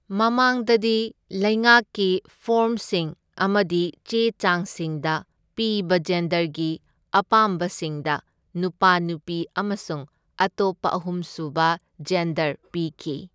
ꯃꯃꯥꯡꯗꯗꯤ, ꯂꯩꯉꯥꯛꯀꯤ ꯐꯣꯔꯝꯁꯤꯡ ꯑꯃꯗꯤ ꯆꯦ ꯆꯥꯡꯁꯤꯡꯗ ꯄꯤꯕ ꯖꯦꯟꯗꯔꯒꯤ ꯑꯄꯥꯝꯕꯁꯤꯡꯗ ꯅꯨꯄꯥ, ꯅꯨꯄꯤ ꯑꯃꯁꯨꯡ ꯑꯇꯣꯞꯄ ꯑꯍꯨꯝꯁꯨꯕ ꯖꯦꯟꯗꯔ ꯄꯤꯈꯤ꯫